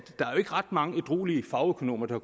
ret mange ædruelige fagøkonomer der